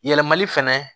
Yɛlɛmali fɛnɛ